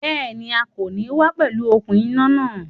Béèni, A kò ní wá pẹ̀lú okùn iná náà